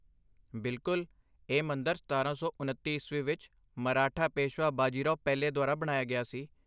ਬਿਲਕੁੱਲ, ਇਹ ਮੰਦਰ ਸਤਾਰਾਂ ਸੌ ਉਨੱਤੀ ਈਸਵੀ ਵਿੱਚ, ਮਰਾਠਾ ਪੇਸ਼ਵਾ ਬਾਜੀ ਰਾਓ ਪਹਿਲੇ ਦੁਆਰਾ ਬਣਾਇਆ ਗਿਆ ਸੀ